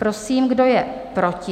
Prosím, kdo je proti?